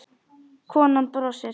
Konan brosir.